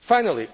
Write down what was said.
Finally,